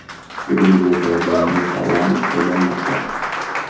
Gruziyada yangi parlament saylanmoqda.